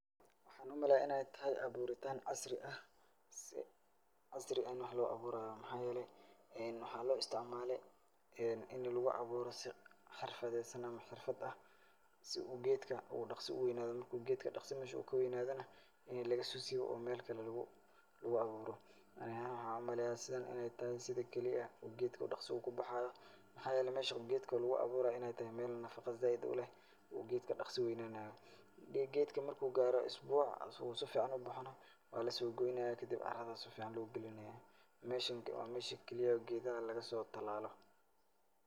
Waxaan u maleyaa inay tahay abuuritaan casri ah si casri ah in wax loo abuuraayo. Maxaa yeelay waxaa loo istacmaalay in lugu abuuro si xirfadeysan ama xirfad ah si u geedka uu dhakhsa u weynaado. Marka geedka dhakhsa meesha kaweynaadana in laga soo siibo oo meel kale lugu, lugu abuuro. Ani ahaan waxaan u maleya sidan inay tahay sida keli ah uu geedka dhakhsa ugu baxaayo. Maxaa yeelay meesha uu geedka lugu abuuraayo inay tahay meel nafaqo zaaid u leh uu geedka dhaksa weynaanaayo. Geedka marka uu gaaro usbuc si ficaan ubaxana waa lasoo goynayaa kadib carad ayaa si ficaan loo gilinayaa. Meeshan waa meesha keli ah laga soo tilaalo.